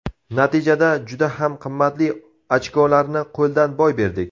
Natijada juda ham qimmatli ochkolarni qo‘ldan boy berdik.